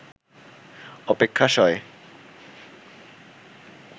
অপেক্ষা সয়